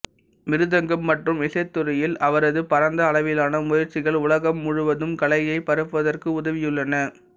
மிருதங்கம் மற்றும் இசைத்துறையில் அவரது பரந்த அளவிலான முயற்சிகள் உலகம் முழுவதும் கலையை பரப்புவதற்கு உதவியுள்ளன